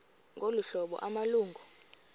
ngolu hlobo amalungu